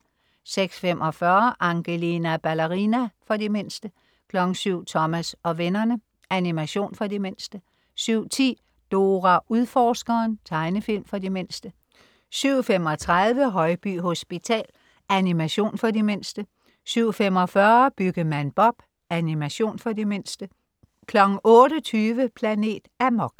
06.45 Angelina Ballerina. For de mindste 07.00 Thomas og vennerne. Animation for de mindste 07.10 Dora Udforskeren. Tegnefilm for de mindste 07.35 Højby Hospital. Animation for de mindste 07.45 Byggemand Bob. Animation for de mindste 08.20 Planet Amok